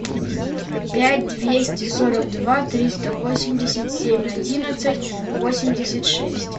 пять двести сорок два триста восемьдесят семь одиннадцать восемьдесят шесть